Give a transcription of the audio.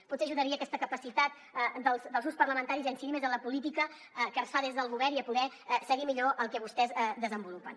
potser ajudaria aquesta capacitat dels grups parlamentaris a incidir més en la política que es fa des del govern i a poder seguir millor el que vostès desenvolupen